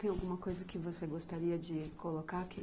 Tem alguma coisa que você gostaria de colocar aqui?